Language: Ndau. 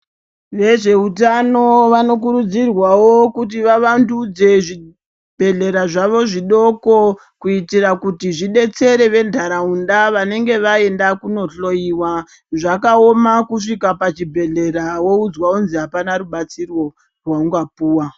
Vezveutano vanokurudzirwavo kuti vavandudze zvibhedhlera zvavo zvidoko. Kuitira kuti zvibetsere ventaraunda vanenge vaenda kunohloiwa. Zvakaoma kusvika pachibhedhlera voudzwa kunzi hapana rubatsiro rwaungapuva.